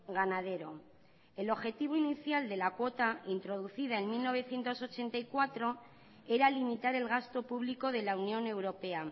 ganadero el objetivo inicial de la cuota introducida en mil novecientos ochenta y cuatro era limitar el gasto público de la unión europea